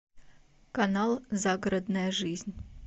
канал загородная жизнь